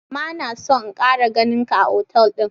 ma na son in Kara ganin ka a otal din.